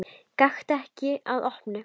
Gakktu ekki að opinu.